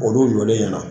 Olu jɔlen ɲɛna